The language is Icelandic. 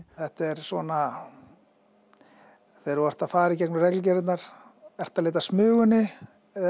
þetta er svona þegar þú ert að fara í gegnum reglugerðirnar ertu að leita að Smugunni eða